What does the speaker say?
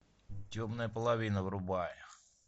темная половина врубай